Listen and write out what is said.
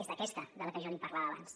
és d’aquesta de la que jo li parlava abans